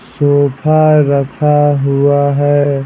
Sofa रखा हुआ है।